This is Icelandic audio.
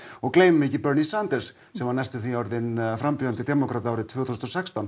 og gleymum ekki Bernie Sanders sem var næstum því orðinn frambjóðandi demókrata árið tvö þúsund og sextán